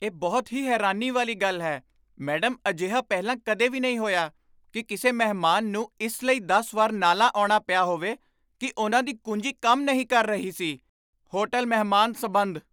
ਇਹ ਬਹੁਤ ਹੀ ਹੈਰਾਨੀ ਵਾਲੀ ਗੱਲ ਹੈ, ਮੈਡਮ ਅਜਿਹਾ ਪਹਿਲਾਂ ਕਦੇ ਵੀ ਨਹੀਂ ਹੋਇਆ ਕੀ ਕਿਸੇ ਮਹਿਮਾਨ ਨੂੰ ਇਸ ਲਈ ਦਸ ਵਾਰ ਨਾਲਾਂ ਆਉਣਾ ਪਿਆ ਹੋਵੇ ਕੀ ਉਨ੍ਹਾਂ ਦੀ ਕੁੰਜੀ ਕੰਮ ਨਹੀਂ ਕਰ ਰਹੀ ਸੀ ਹੋਟਲ ਮਹਿਮਾਨ ਸਬੰਧ